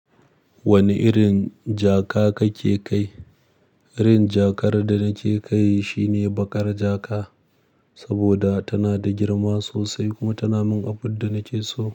Wane irin jaka kake kai? Irin jakar da nake kai shine baƙar jaka, saboda tana da girma sosai kuma tana min abun da nake so.